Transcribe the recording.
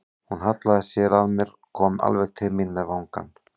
Hún hallaði sér að mér, kom alveg til mín með vangann.